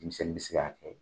Denmisɛnnin bɛ se ka kɛ.